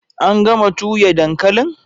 An gama tuya dankalin?